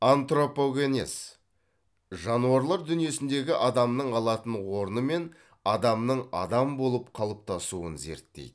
антропогенез жануарлар дүниесіндегі адамның алатын орны мен адамның адам болып қалыптасуын зерттейді